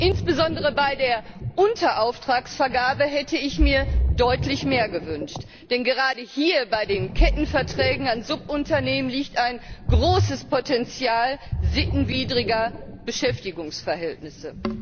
Insbesondere bei der Unterauftragsvergabe hätte ich mir deutlich mehr gewünscht, denn gerade hier, bei den Kettenverträgen an Subunternehmen, liegt ein großes Potenzial sittenwidriger Beschäftigungsverhältnisse.